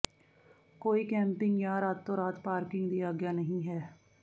ਕੋਈ ਕੈਂਪਿੰਗ ਜਾਂ ਰਾਤੋ ਰਾਤ ਪਾਰਕਿੰਗ ਦੀ ਆਗਿਆ ਨਹੀਂ ਹੈ